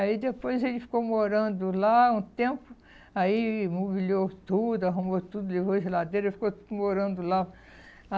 Aí depois ele ficou morando lá um tempo, aí imobiliou tudo, arrumou tudo, ligou a geladeira, ficou morando lá.